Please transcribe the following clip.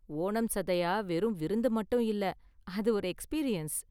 ஓணம் சதயா வெறும் விருந்து மட்டும் இல்ல, அது ஒரு எக்ஸ்பீரியன்ஸ்.